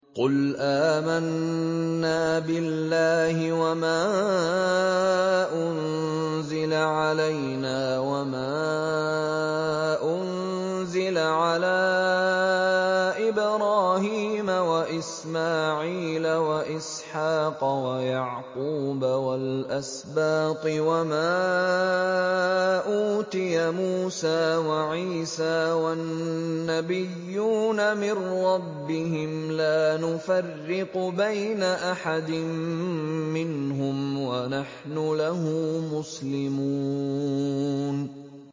قُلْ آمَنَّا بِاللَّهِ وَمَا أُنزِلَ عَلَيْنَا وَمَا أُنزِلَ عَلَىٰ إِبْرَاهِيمَ وَإِسْمَاعِيلَ وَإِسْحَاقَ وَيَعْقُوبَ وَالْأَسْبَاطِ وَمَا أُوتِيَ مُوسَىٰ وَعِيسَىٰ وَالنَّبِيُّونَ مِن رَّبِّهِمْ لَا نُفَرِّقُ بَيْنَ أَحَدٍ مِّنْهُمْ وَنَحْنُ لَهُ مُسْلِمُونَ